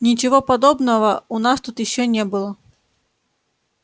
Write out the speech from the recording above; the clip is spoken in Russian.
ничего подобного у нас тут ещё не было